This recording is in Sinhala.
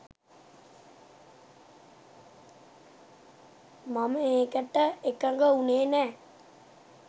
මම ඒකට එකඟ වුණේ නෑ